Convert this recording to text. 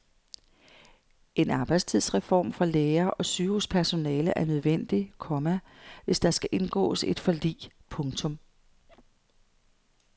En arbejdstidsreform for lærere og sygehuspersonale er nødvendig, komma hvis der skal indgås et forlig. punktum